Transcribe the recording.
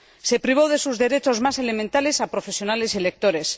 Se privó de sus derechos más elementales a profesionales y lectores.